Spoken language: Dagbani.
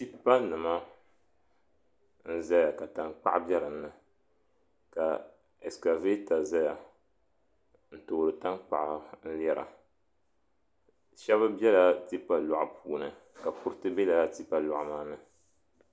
Tipa nima n zaya ka tankpaɣu be dinni ka askavata zaya n toori tankpaɣu n lera shɛba bela tipa loɣu puuni kuriti bela tipa loɣu maani.